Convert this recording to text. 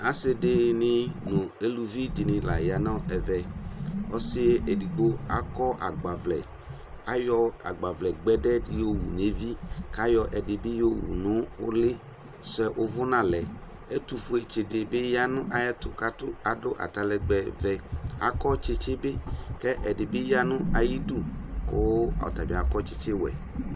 Asidini nu eluvidini la yanu ɛvɛ ɔsɩ edigbo aƙɔ agbavlɛ ayɔ agbavlɛ gbɛdɛ di yowu naɣla ƙʊ ayɔ edigbodibi yowu nʊ ulɩ azɛ ʊvʊna lɛ ɛtufuɛ dibi yanu ayɛtu kakatʊ adu atalɛgbɛ ɔvɛ kɛdɩbi yanu atamidu kʊ ɔtabɩ akɔ tsitsi wuɛ